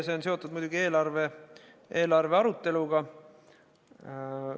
See on seotud muidugi eelarvearuteluga.